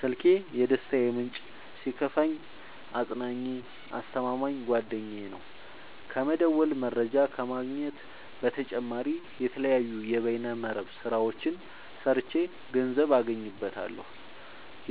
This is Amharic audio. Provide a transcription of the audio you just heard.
ስልኪ የደስታዬ ምንጭ ሲከፋኝ አፅናኜ አስተማማኝ ጓደኛዬ ነው። ከመደወል መረጃ ከመግኘት በተጨማሪ የተለያዩ የበይነ መረብ ስራዎችን ሰርቼ ገንዘብ አገኝበታለሁ።